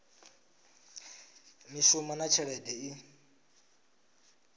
ya mishumo na tshelede i